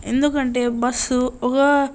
ఎందుకంటే ఒక బస్సు ఒక--